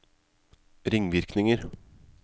ringvirkninger